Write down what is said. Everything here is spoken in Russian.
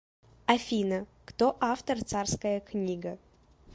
афина кто автор царская книга